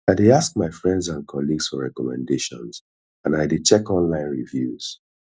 i dey ask my friends and colleagues for recommendations and i dey check online reviews